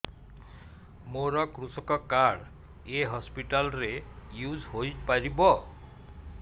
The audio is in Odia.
ମୋର କୃଷକ କାର୍ଡ ଏ ହସପିଟାଲ ରେ ୟୁଜ଼ ହୋଇପାରିବ